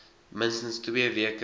minstens twee weke